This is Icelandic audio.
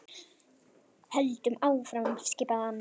Höldum áfram skipaði hann.